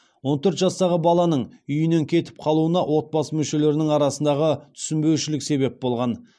он төрт жастағы баланың үйінен кетіп қалуына отбасы мүшелерінің арасындағы түсінбеушілік себеп болған